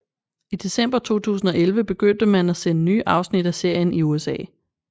I december 2011 begyndte man at sende nye afsnit af serien i USA